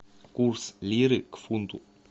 курс лиры к фунту